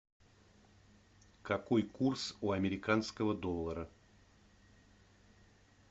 какой курс у американского доллара